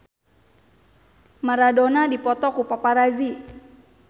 Maradona dipoto ku paparazi